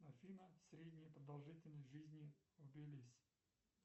афина средняя продолжительность жизни в тбилиси